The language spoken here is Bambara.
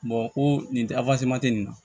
ko nin tɛ nin na